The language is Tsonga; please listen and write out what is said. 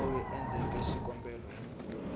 loyi a endleke xikombelo hi